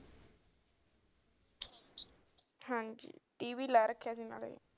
ਹਾਂਜੀ T v ਲਾ ਰੱਖਿਆ ਸੀ ਨਾਲ